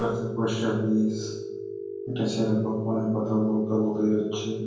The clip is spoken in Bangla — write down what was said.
কাচা পয়সা বিষ একটা ছেলে কনে ফোন এ কথা বলতে বলতে যাচ্ছে।